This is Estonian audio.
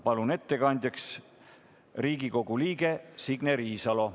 Palun ettekandjaks Riigikogu liikme Signe Riisalo.